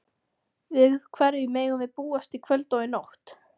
Við hverju megum við búast í kvöld og í nótt?